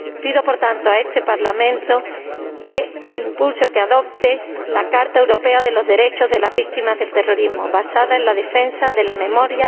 Pido, por tanto, a este Parlamento que impulse o que adopte la Carta Europea de los Derechos de las Víctimas del Terrorismo, basada en la defensa de la memoria...